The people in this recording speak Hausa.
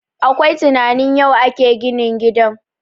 Akwai tunanin yau ake yin ginin gidan